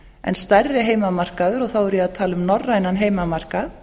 en stærri heimamarkaður og þá er ég að tala um norrænan heimamarkað